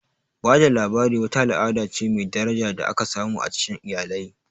Ba da labari wata al'ada ce mai daraja da aka samu a cikin iyalai.